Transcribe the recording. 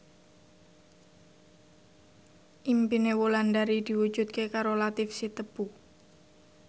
impine Wulandari diwujudke karo Latief Sitepu